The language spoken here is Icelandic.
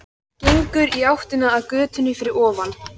Gengur í áttina að götunni fyrir ofan.